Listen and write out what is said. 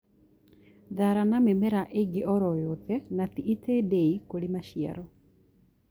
thara na mĩmera ĩngĩ oro yothe nati itindiĩ kũrĩ maciaro